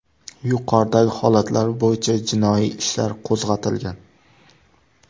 Yuqoridagi holatlar bo‘yicha jinoiy ishlar qo‘zg‘atilgan.